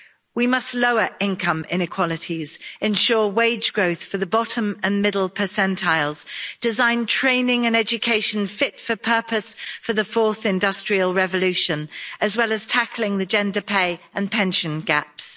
We must lower income inequalities, ensure wage growth for the bottom and middle percentiles, design training and education fit for purpose for the fourth industrial revolution, as well as tackling the gender pay and pension gaps.